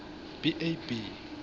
b a b